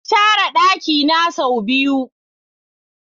Na share dakina sau biyu.